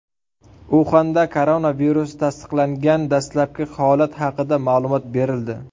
Uxanda koronavirus tasdiqlangan dastlabki holat haqida ma’lumot berildi.